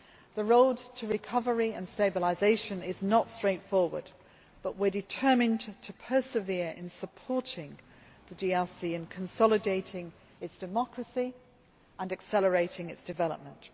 The road to recovery and stabilisation is not straightforward, but we are determined to persevere in supporting the DRC in consolidating its democracy and accelerating its development.